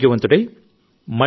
మీరు lockdown ప్రకటించినప్పుడు